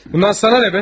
Bundan sənə nədir ki?